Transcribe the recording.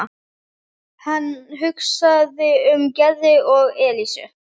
Hann hugsaði um Gerði og Elísu.